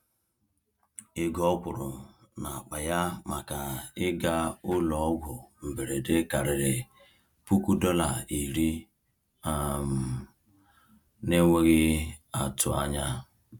Ego ọ kwụrụ n’akpa ya maka ịga ụlọọgwụ mberede karịrị $10,000 um n’enweghị atụ anya.